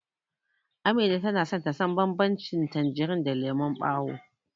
Amina tana so ta san banbancin tanjirin da lemon ɓawo.